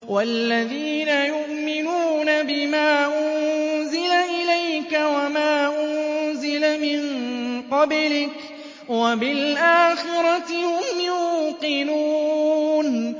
وَالَّذِينَ يُؤْمِنُونَ بِمَا أُنزِلَ إِلَيْكَ وَمَا أُنزِلَ مِن قَبْلِكَ وَبِالْآخِرَةِ هُمْ يُوقِنُونَ